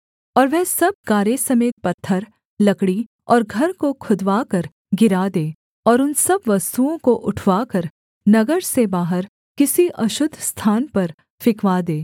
और वह सब गारे समेत पत्थर लकड़ी और घर को खुदवाकर गिरा दे और उन सब वस्तुओं को उठवाकर नगर से बाहर किसी अशुद्ध स्थान पर फिंकवा दे